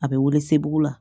A bɛ wili segu la